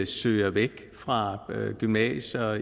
søger væk fra gymnasier